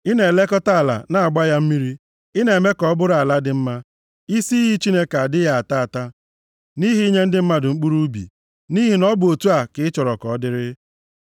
Ị na-elekọta ala na-agba ya mmiri; ị na-eme ka ọ bụrụ ala dị mma. Isi iyi Chineke adịghị ata ata, nʼihi inye ndị mmadụ mkpụrụ ubi, nʼihi na ọ bụ otu a ka ị chọrọ ka ọ dịrị.